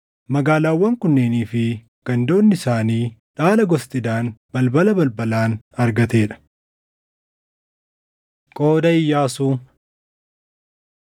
Magaalaawwan kunneenii fi gandoonni isaanii dhaala gosti Daan balbala balbalaan argatee dha. Qooda Iyyaasuu